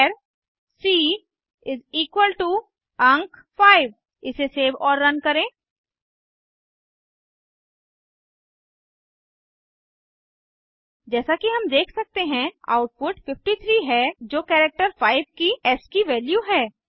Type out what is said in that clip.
चार सी अंक 5 इसे सेव और रन करें जैसा कि हम देख सकते हैं आउटपुट 53 है जो कैरेक्टर 5 की एस्की वैल्यू है